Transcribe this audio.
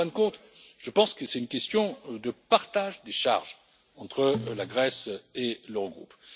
européens. En fin de compte, je pense que c'est une question de partage des charges entre la Grèce et l'Eurogroupe.